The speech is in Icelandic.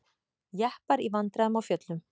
Jeppar í vandræðum á fjöllum